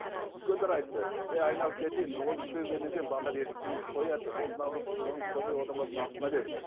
үлкендер айтты ей айналып кетейін ол үлкейгеннен кейін балалар ер жеткеннен кейін қояды деп ол наоборот қылығын қоймай одан басқа асқына берді